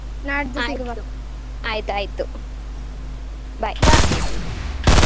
ಆಯ್ತು ಆಯ್ತು. bye.